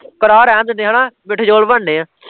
ਕਰਾਹ ਰੇਹਣ ਦਿੰਦੇ ਹੈਨਾ, ਮਿੱਠੇ ਚੋਲ ਬਣਨੇ ਆ